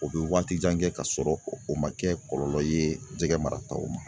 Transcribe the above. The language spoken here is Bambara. O bɛ waati jan kɛ ka sɔrɔ o ma kɛ kɔlɔlɔ ye jɛgɛ marataw ma